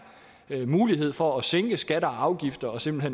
er mulighed for ved at sænke skatter og afgifter simpelt